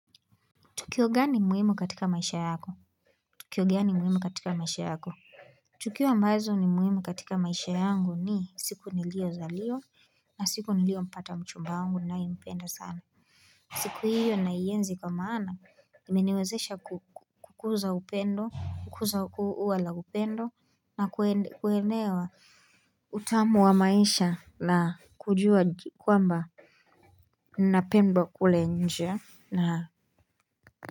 Tukio gani muhimu katika maisha yako? Tukio gani muhimu katika maisha yako? Tukio ambazo ni muhimu katika maisha yangu ni siku nilio zaliwa na siku niliompata mchumba wangu ninayempenda sana. Siku hiyo naienzi kwa maana imeniwezesha kukuza upendo kukuza ua la upendo na kuelewa utamu wa maisha na kujua kwamba ninapendwa kule nje.